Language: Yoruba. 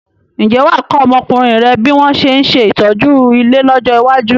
Ǹjẹ́ wà á kọ́ ọmọkùnrin rẹ bí wọn ṣe ń ṣe ìtọ́jú ilé lọ́jọ́ iwájú?